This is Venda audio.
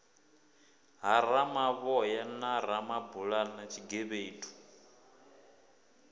ha ramavhoya na ramabulana tshigevhedu